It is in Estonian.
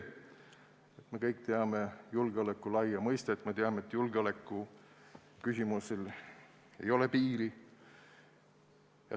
Me kõik teame julgeoleku laia mõistet – me teame, et julgeolekuküsimustel ei ole piiri.